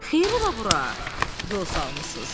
Xeyir ola bura yol salmısınız?